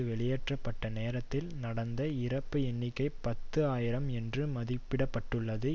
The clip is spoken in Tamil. வெளியேற்ற பட்ட நேரத்தில் நடந்த இறப்பு எண்ணிக்கை பத்து ஆயிரம் என்று மதிப்பிட பட்டுள்ளது